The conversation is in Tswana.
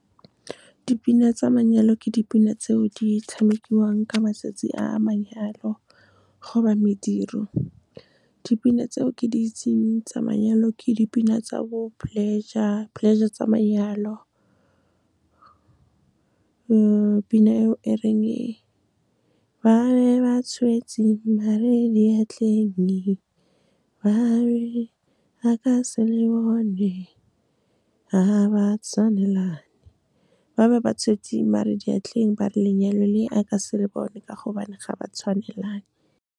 Ke dipina tsa manyalo, ke dipina tseo di tshamekiwang ka matsatsi a manyalo, goba mediro. Dipina tseo ke di itseng tsa manyalo, ke dipina tsa bo Pleasure, Pleasure tsa Manyalo. Pina eo e reng, ba ne ba tshwetseng maar-e diatlheng, ba re a ka se le bone, ga ba tshwanelane. Ba be ba tshwetseng, maar-e diatleng ba re lenyalo le a ka se le bone, ka gobane ga ba tshwanelane. Ke dipina tsa manyalo, ke dipina tseo di tshamekiwang ka matsatsi a manyalo, goba mediro. Dipina tseo ke di itseng tsa manyalo, ke dipina tsa bo Pleasure, Pleasure tsa Manyalo. Pina eo e reng, ba ne ba tshwetseng maar-e diatlheng, ba re a ka se le bone, ga ba tshwanelane. Ba be ba tshwetseng, maar-e diatleng ba re lenyalo le a ka se le bone, ka gobane ga ba tshwanelane.